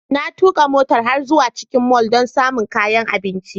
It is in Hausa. Na tuka mota har zuwa cikin mall don samun kayan abinci.